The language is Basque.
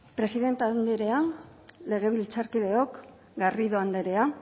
presidente anderea legebiltzarkideok garrido anderea